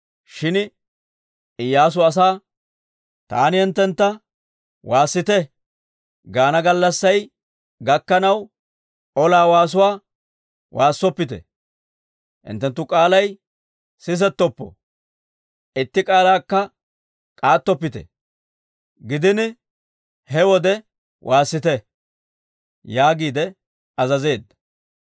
Shin Iyyaasu asaa, «Taani hinttentta, ‹Waassite!› gaana gallassay gakkanaw, ola waasuwaa waassoppite; hinttenttu k'aalay sisettoppo; itti k'aalakka k'aattoppite. Gidin he wode waassite!» yaagiide azazeedda.